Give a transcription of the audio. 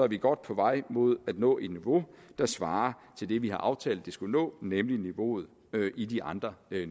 vi godt på vej mod at nå et niveau der svarer til det vi har aftalt at vi skulle nå nemlig niveauet i de andre